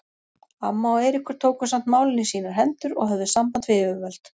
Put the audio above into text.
Amma og Eiríkur tóku samt málin í sínar hendur og höfðu samband við yfirvöld.